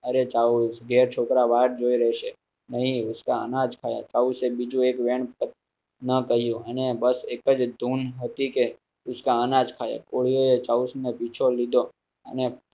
અરે ગેર છોકરા વાર જોઈ રહેશે નહીં. ઉસકા અનાજ ખાયા ઉસે બીજો એક કર્યો અને બસ એક જ ધૂન ઉસકા અનાજ ખાયા કોળીઓએ